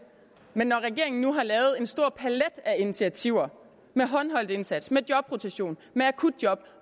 men når regeringen nu har lavet en stor palet af initiativer med håndholdt indsats jobrotation akutjob